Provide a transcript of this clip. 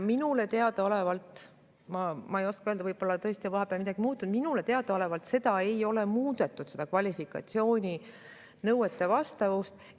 Minule teadaolevalt – ma ei saa kindlalt öelda, võib-olla on vahepeal midagi muutunud – seda kvalifikatsiooninõuete ei ole muudetud.